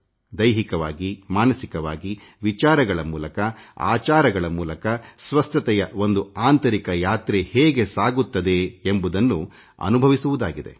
ದೈಹಿಕವಾಗಿಮಾನಸಿಕವಾಗಿ ವಿಚಾರಗಳ ಮೂಲಕ ಆಚಾರಗಳ ಮೂಲಕ ಸ್ವಸ್ಥತೆಯ ಒಂದು ಆಂತರಿಕ ಯಾತ್ರೆ ಹೇಗೆ ಸಾಗುತ್ತದೆ ಎಂಬುದನ್ನು ಅನುಭವಿಸುವುದಾಗಿದೆ